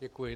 Děkuji.